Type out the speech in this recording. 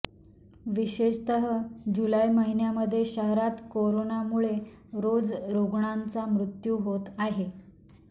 विशेषतः जुलै महिन्यामध्ये शहरात करोनामुळे रोज रुग्णांचा मृत्यू होत आहे